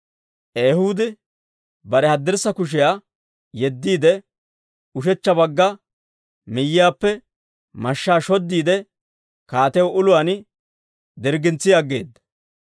Ehuudi bare haddirssa kushiyaa yeddiide, ushechcha bagga miyiyaappe mashshaa shoddiide, kaatiyaw uluwaan dirggintsi aggeeda.